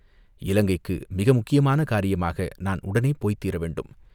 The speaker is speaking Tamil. இலங்கைக்கு மிக முக்கியமான காரியமாக நான் உடனே போய்த்தீர வேண்டும்.